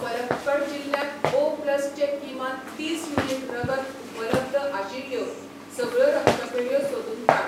पलक्कड जिल्ल्यांत O plus चे किमान तीस युनिट रगत उपलब्ध आशिल्ल्यो सगळ्यो रक्तपेढयो सोदून काड.